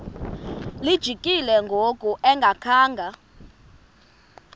lijikile ngoku engakhanga